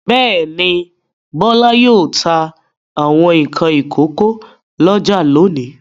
Bẹ́ẹ̀ ni, Bọ́lá yóò ta àwọn nǹkan ìkókó lọ́jà lónìí.